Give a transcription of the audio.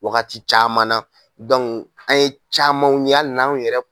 Wagati caman na an ye camanw ye hali n'anw yɛrɛ